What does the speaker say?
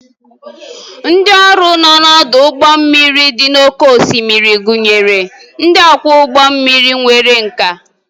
Ndị ọrụ nọ n'ọdụ ụgbọ mmiri dị n'oké osimiri gụnyere ndị ọkwọ ụgbọ mmiri nwere nkà